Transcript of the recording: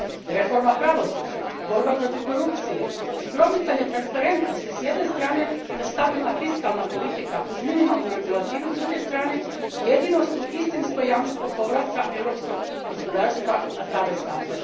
Reforma pravosuđa, borba protiv korupcije i promicanje transparentnosti s jedne strane te stabilna fiskalna politika uz minimalnu regulativu s druge strane jedino su istinsko jamstvo povrata europskog gospodarstva na prave staze.